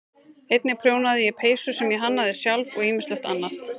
Einnig prjónaði ég peysur sem ég hannaði sjálf og ýmislegt annað.